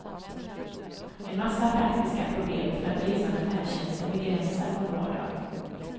En massa praktiska problem för att resa med färdtjänsten begränsar vår vardag.